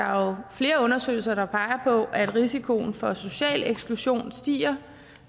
er flere undersøgelser der peger på at risikoen for social eksklusion stiger